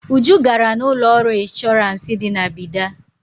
Uju gara na ụlọọrụ ịnshọrans dị na Bida.